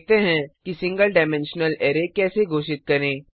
देखते हैं कि सिंगल डाइमेंशनल अरै कैसे घोषित करें